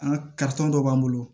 An ka dɔ b'an bolo